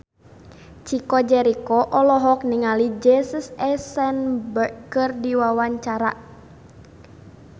Chico Jericho olohok ningali Jesse Eisenberg keur diwawancara